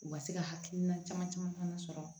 U ka se ka hakilina caman caman fana sɔrɔ